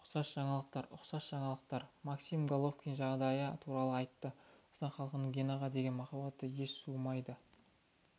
ұқсас жаңалықтар ұқсас жаңалықтар максим головкин жағдайы туралы айтты қазақстан халқының генаға деген махаббаты еш суымайды